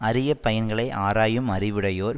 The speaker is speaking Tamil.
அரிய பயன்களை ஆராயும் அறிவுடையோர்